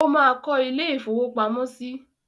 Ó máa kó ilé-ìfowópamọ́sí?